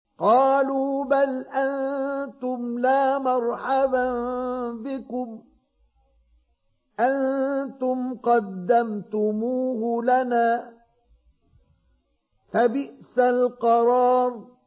قَالُوا بَلْ أَنتُمْ لَا مَرْحَبًا بِكُمْ ۖ أَنتُمْ قَدَّمْتُمُوهُ لَنَا ۖ فَبِئْسَ الْقَرَارُ